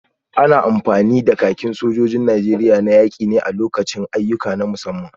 Ana amfani da kakin sojan Najeriya na yaki ne a lokutan ayyuka na musamman.